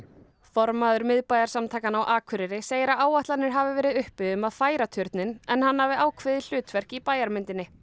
formaður miðbæjarsamtakanna á Akureyri segir að áætlanir hafi verið uppi um að færa turninn en hann hafi ákveðið hlutverk í bæjarmyndinni